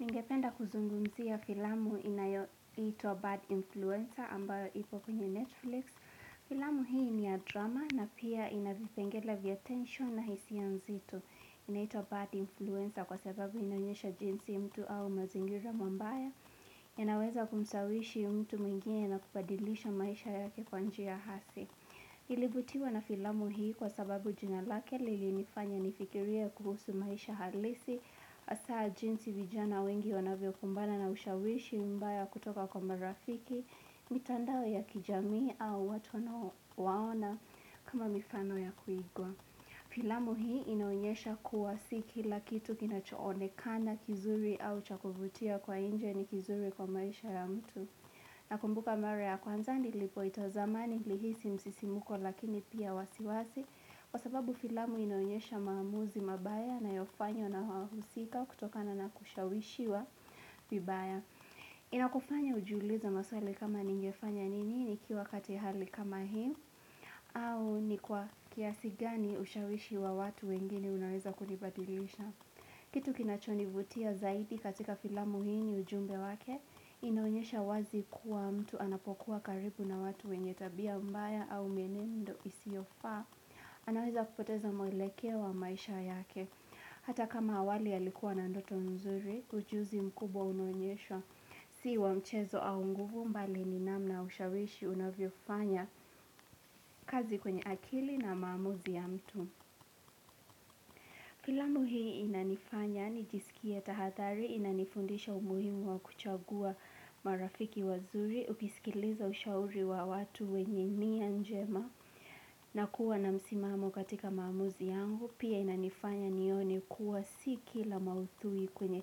Ningependa kuzungumzia filamu inayoitwa Bad Influencer ambayo ipo kwenye Netflix. Filamu hii ni ya drama na pia ina vipengele vya tension na hisia nzito. Inaitwa Bad Influencer kwa sababu inaonyesha jinsi mtu au mazingira mabaya. Yanaweza kumshawishi mtu mwingine na kubadilisha maisha yake kwa njia hasi. Nilivutiwa na filamu hii kwa sababu jina lake lilinifanya nifikiria kuhusu maisha halisi. Hasa jinsi vijana wengi wanavyokumbana na ushawishi mbaya kutoka kwa marafiki, mitandao ya kijamii au watu wanaowaona kama mifano ya kuigwa. Filamu hii inaonyesha kuwa si kila kitu kinachoonekana kizuri au cha kuvutia kwa nje ni kizuri kwa maisha ya mtu. Nakumbuka mara ya kwanza nilipoitazama nilihisi msisimuko lakini pia wasiwasi Kwa sababu filamu inaonyesha maamuzi mabaya yanayofanywa na wahusika kutokana na kushawishiwa vibaya Inakufanya ujiuliize maswali kama ningefanya nini nikiwa kati hali kama hii au ni kwa kiasi gani ushawishi wa watu wengine unaweza kunibadilisha Kitu kinachonivutia zaidi katika filamu hii ni ujumbe wake, inaonyesha wazi kuwa mtu anapokuwa karibu na watu wenye tabia mbaya au mienendo isiofaa, anaweza kupoteza mwelekeo wa maisha yake. Hata kama awali alikuwa na ndoto nzuri, ujuzi mkubwa unaonyesha, si wa mchezo au nguvu mbali ni namna ushawishi unavyofanya kazi kwenye akili na maamuzi ya mtu. Filamu hii inanifanya nijisikie tahadhari, inanifundisha umuhimu wa kuchagua marafiki wazuri, ukisikiliza ushauri wa watu wenye nia njema na kuwa na msimamo katika maamuzi yangu, pia inanifanya nione kuwa si kila maudhui kwenye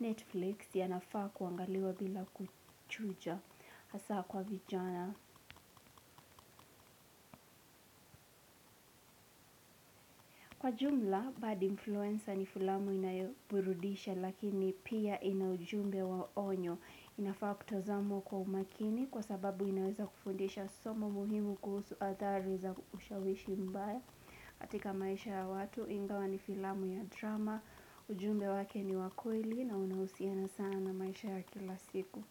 Netflix yanafaa kuangaliwa bila kuchuja hasa kwa vijana. Kwa jumla bad influencer ni filamu inayoburudisha lakini pia ina ujumbe wa onyo. Inafaa kutazamwa kwa umakini kwa sababu inaweza kufundisha somo muhimu kuhusu hadhari za ushawishi mbaya katika maisha ya watu ingawa ni filamu ya drama ujumbe wake ni wa kweli na unahusiana sana na maisha ya kila siku.